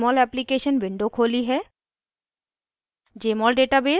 मैंने एक नयी jmol application window खोली है